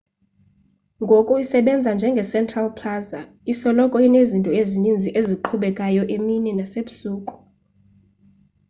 ngoku isebenza njenge central plaza isoloko inezinto ezininzi eziqhubekayo emini nasebusuku